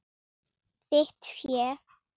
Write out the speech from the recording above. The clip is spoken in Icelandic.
Þitt fé.